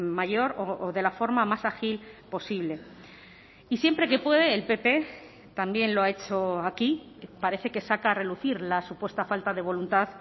mayor o de la forma más ágil posible y siempre que puede el pp también lo ha hecho aquí parece que saca a relucir la supuesta falta de voluntad